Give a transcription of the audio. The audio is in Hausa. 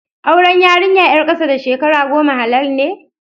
Auren yarinya ƴar ƙasa da shekara goma halal ne?